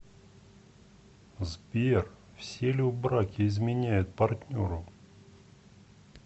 сбер все ли в браке изменяют партнеру